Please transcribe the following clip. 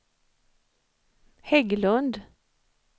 Hägglund